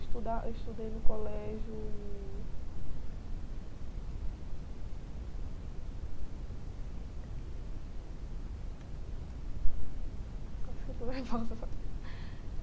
Estuda, eu estudei no colégio... Acho que eu estou nervosa.